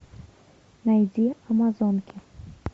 найди амазонки